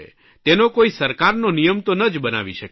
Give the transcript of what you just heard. તેનો કોઇ સરકારનો નિયમ તો ન જ બનાવી શકીએ